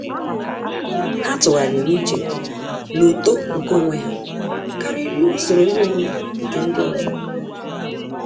Há tụ́gharị́rị́ úchè na uto nke onwe ha kàrị́rị́ usoro ihe omume nke ndị ọzọ.